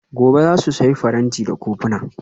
Gobe ​​za su sayi faranti da kofuna?